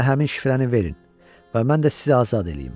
Mənə həmin şifrəni verin və mən də sizi azad eləyim.